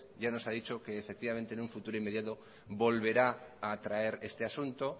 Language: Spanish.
ya nos ha dicho que efectivamente en un futuro inmediato volverá a traer este asunto